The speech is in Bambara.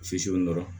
Sisi dɔrɔn